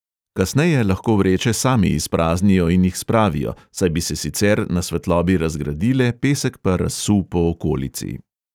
Kasneje lahko vreče sami izpraznijo in jih spravijo, saj bi se sicer na svetlobi razgradile, pesek pa razsul po okolici.